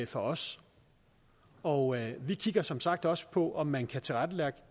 for os og vi kigger som sagt også på om man kan tilrettelægge